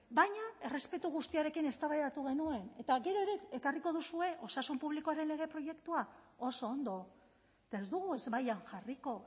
baina errespetu guztiarekin eztabaidatu genuen eta gero ere ekarriko duzue osasun publikoaren lege proiektua oso ondo eta ez dugu ezbaian jarriko